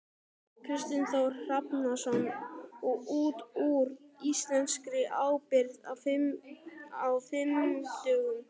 Kristinn Hrafnsson: Og út úr íslenskri ábyrgð á fimm dögum?